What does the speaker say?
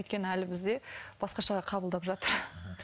өйткені әлі бізде басқашалай қабылдап жатыр